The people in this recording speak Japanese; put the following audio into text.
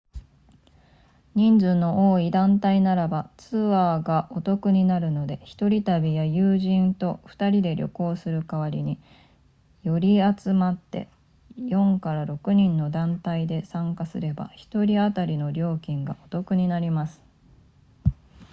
人数の多い団体ならばツアーがお得になるので1人旅や友人と2人で旅行する代わりに寄り集まって 4～6 人の団体で参加すれば1人当たりの料金がお得になります